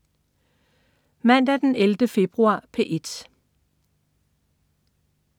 Mandag den 11. februar - P1: